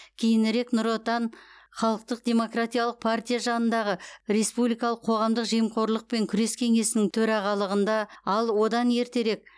кейінірек нұр отан халықтық демократиялық партия жанындағы республикалық қоғамдық жемқорлықпен күрес кеңесінің төрағалығында ал одан ертеректе